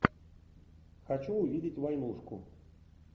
хочу увидеть войнушку